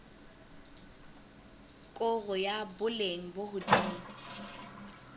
koro ya boleng bo hodimo